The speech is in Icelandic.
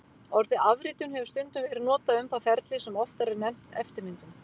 Orðið afritun hefur stundum verið notað um það ferli sem oftar er nefnt eftirmyndun.